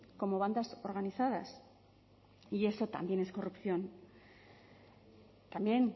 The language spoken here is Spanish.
como bandas organizadas y eso también es corrupción también